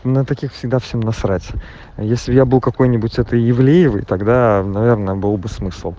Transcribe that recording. на таких всегда все насрать а если я был какой-нибудь это ивлеевой тогда наверное был бы смысл